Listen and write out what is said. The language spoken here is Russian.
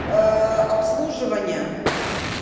обслуживание